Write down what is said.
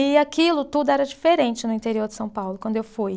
E aquilo tudo era diferente no interior de São Paulo, quando eu fui.